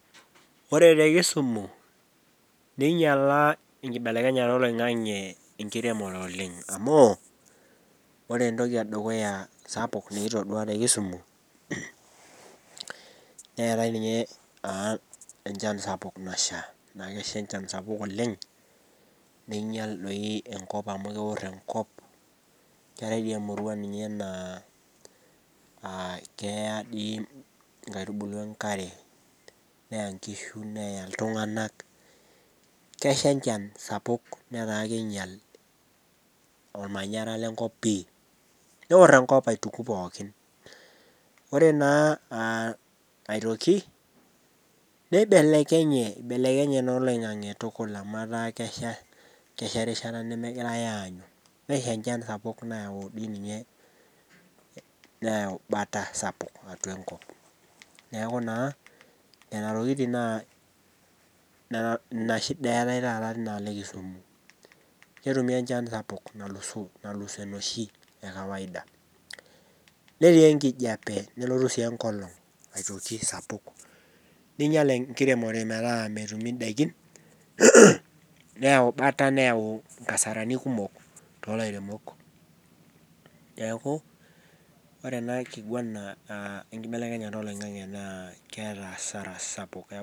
Ore te kisumo neinyala enkibelekenyata eloing'ang'e enkiremore oleng amu ore entoki edukuya sapuk nikitodua te kisumu, neate ninye naa enchan sapuk nasha, naa kesha enchan sapuk oleng neinyal dei enkop amu keor enkop. Keatae doi ninye emurua naa keya dei enkaitubulu enkare, neya inkishu, neya iltunganak, kesha enchan sapuk netaa keinyal olmanyara le nkop pii. Neor enkop aituku pookin. Ore naa aitoki nebibelekenye, eibelekeny dei naa oloing'ang'e tukul amu etaa kesha, kesha rishata nemegirai aanyu. Nesha enchan sapuk nayau dei ninye, neyau bata sapuk atua enkop. Neaku naa, nena tokitin, ina inshida eaatae taata tenialo ekisumu. Ketumi enchan sapuk nalusoo, nalus enoshi ekawaida. Netii enkijape, nelotu sii enkolong aitoki sapuk. Neinyal enkiremore metaa metumi indaikin, neyau ibata, neyau inkasarani kumok too ilairemok. Neaku ore ena nkiguana enkibelekenyata eloing'ang'e naa keata hasara sapuk.